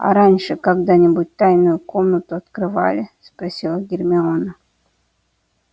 а раньше когда-нибудь тайную комнату открывали спросила гермиона